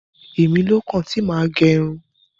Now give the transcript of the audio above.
Èmilókàn tí mà á gẹ irun.